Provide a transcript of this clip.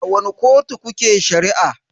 A wani kotu kuke Shari'a?